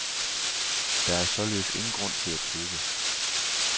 Der er således ingen grund til at tøve.